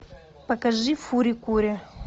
покажи фури кури